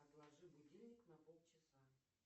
отложи будильник на полчаса